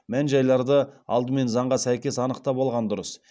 мән жайларды алдымен заңға сәйкес анықтап алған дұрыс